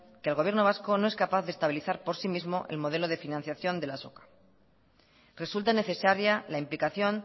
que el gobierno vasco no es capaz de estabilidad por sí mismo el modelo de financiación de la azoka resulta necesaria la implicación